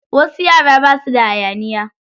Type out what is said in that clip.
Wasu yara basu da hayaniya.